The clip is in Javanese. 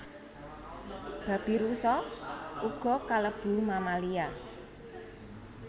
Babirusa uga kalebu mammalia